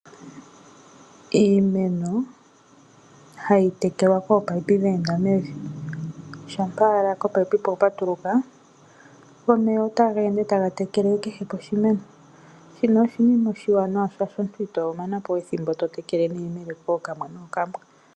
Iimeno ohayi tekelwa kominino dheenda mevi. Shampa owala komunino kwa patuluka go omeya otageende taga tekele kehe poshimeno. Shino oshinima oshiwanawa shaashi omuntu ito mana po we ethimbo to tekele neyemele kookamwe nookamwe.